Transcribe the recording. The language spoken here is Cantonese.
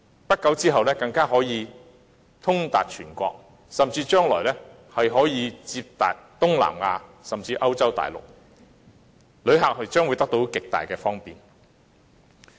不久之後，高鐵就可以通達全國；將來甚至可以接達東南亞甚至歐洲大陸，旅客將會得到極大的方便。